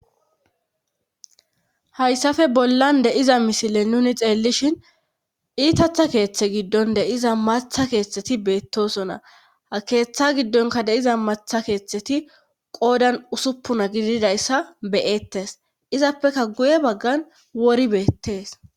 hayssafe bollan de7iza misile nuni xeellishin iitatha keeththe giddon de7iza matha keeththeti beettosonna ha keeththa giddonka deiza matha keeththeti qoodan usuppuna gididayssa beyettes izappeka guye baggan wori beettees